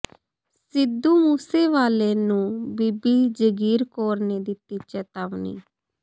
ਸਿੱਧੂ ਮੂਸੇਵਾਲੇ ਨੂੰ ਬੀਬੀ ਜਾਗੀਰ ਕੌਰ ਨੇ ਦਿੱਤੀ ਚੇਤਾਵਨੀ